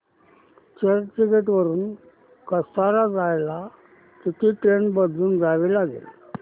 चर्चगेट वरून कसारा जायला किती ट्रेन बदलून जावे लागेल